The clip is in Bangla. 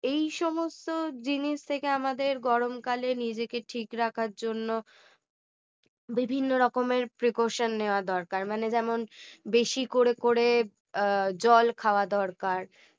এই সমস্ত জিনিস থেকে আমাদের গরম কালে নিজেকে ঠিক রাখার জন্য বিভিন্ন রকমের precaution নেওয়া দরকার মানে যেমন বেশি করে করে জল খাওয়া দরকার